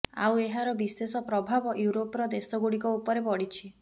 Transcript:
ଆଉ ଏହାର ବିଶେଷ ପ୍ରବାଭ ୟୁରୋପର ଦେଶଗୁଡ଼ିକ ଉପରେ ପଡ଼ିଛି